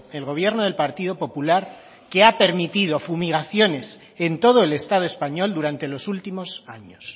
el gobierno del partido popular que ha permitido fumigaciones en todo el estado español durante los últimos años